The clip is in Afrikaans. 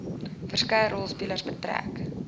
verskeie rolspelers betrek